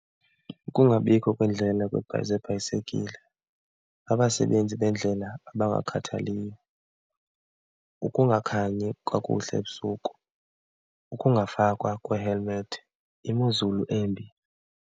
Ukungabikho kweendlela zebhayisekile, abasebenzi bendlela abangakhathaliyo, ukungakhanyi kakuhle ebusuku, ungafakwa kwee-helmet, imozulu embi.